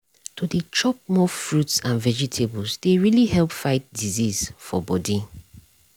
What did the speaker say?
to dey chop more fruits and vegetables dey really help fight disease for body.